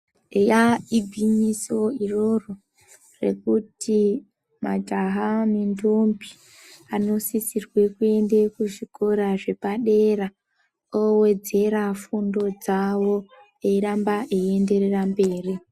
Eya igwinyiso iroro rekuti majaha nendombi ano sisirwe kuende kuzvikora zvepa dera owedzera fundo dzavo eyiramba eyienderera mberi.